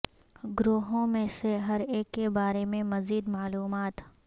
گروہوں میں سے ہر ایک کے بارے میں مزید معلومات